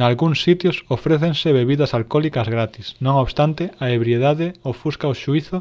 nalgúns sitios ofrécense bebidas alcólicas gratis non obstante a ebriedade ofusca o xuízo